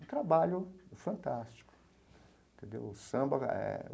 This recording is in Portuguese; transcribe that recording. Um trabalho fantástico entendeu o Samba eh.